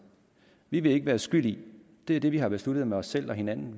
vi vil ikke være skyld i det er det vi har besluttet med os selv og hinanden